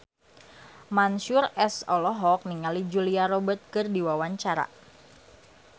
Mansyur S olohok ningali Julia Robert keur diwawancara